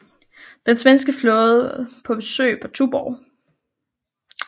Den svenske flåde på besøg på Tuborg